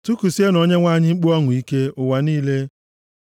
Tikusienụ Onyenwe anyị mkpu ọṅụ ike, ụwa niile.